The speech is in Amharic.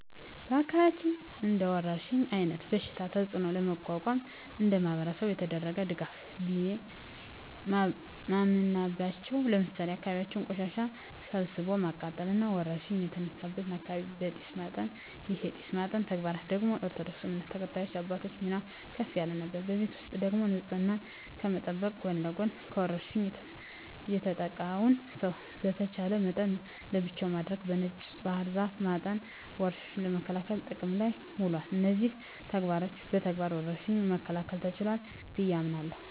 በአካባቢያችን እንደወረርሽኝ አይነት በሽታ ተጽኖ ለመቋቋም እንደማህበረሰብ የተደረገ ድጋፍ ቢየ ማምናበቻው ለምሳሌ የአካባቢን ቆሻሻ ሰብስቦ ማቃጠል እና ወረርሽኝ የተነሳበትን አካባቢ በጢስ ማጠን ይህን የጢስ ማጠን ተግባር ደግሞ የኦርቶዶክስ እምነት ተከታይ አባቶች ሚና ከፍ ያለ ነበር። በቤት ውስጥ ደግሞ ንጽህናን ከመጠበቅ ጎን ለጎን በወርሽኙ የተጠቃውን ሰው በተቻለ መጠን ለብቻው በማድረግ በነጭ ባህር ዛፍ በማጠን ወረርሽኙን ለመከላከል ጥቅም ላይ ውሏል። እነዚህን ተግባሮች በመተግበር ወረርሽኙን መከላከል ተችሏል ብየ አምናለሁ።